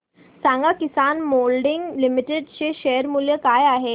सांगा Kisan moulding limited चे share मूल्य काय आहे